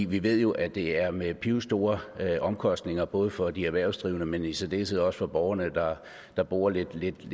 vi ved jo at det er med pivstore omkostninger både for de erhvervsdrivende men i særdeleshed også for borgerne der bor lidt lidt